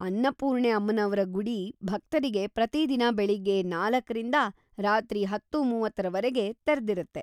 ಅನ್ನಪೂರ್ಣೆ ಅಮ್ಮನವ್ರ ಗುಡಿ ಭಕ್ತರಿಗೆ ಪ್ರತಿದಿನ ಬೆಳಿಗ್ಗೆ ನಾಲ್ಕರಿಂದ ರಾತ್ರಿ ಹತ್ತು:ಮೂವತ್ತರವರ್ಗೆ ತೆರ್ದಿರುತ್ತೆ.